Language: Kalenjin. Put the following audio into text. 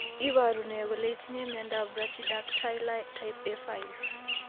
Iporu ne kole itinye miondap Brachydactyly type A5?